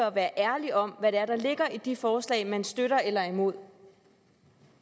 at være ærlig om hvad det er der ligger i de forslag man støtter eller er imod